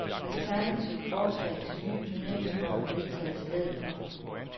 Alternativt forslag til ny turneringsform er vedtaget i stedet for.